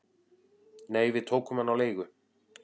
"""Nei, við tókum hann á leigu"""